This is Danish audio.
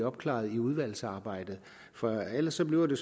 opklaret i udvalgsarbejdet for ellers bliver det